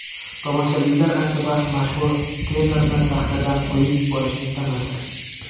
Tomoshabinlar ancha vaqt mashhur tenorni sahnadan qo‘yib yuborishni istamadi.